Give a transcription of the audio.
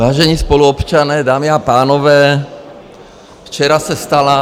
Vážení spoluobčané, dámy a pánové, včera se stala...